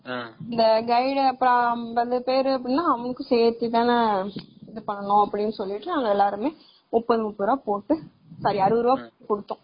tourist guide அவங்களுக்கு சேத்து தான எல்லாமே அப்படினு சொல்லிட்டு நாங்க எல்லாருமே முப்பது, முப்பது ருபாய் போட்டு sorry அறுபது ருபாய்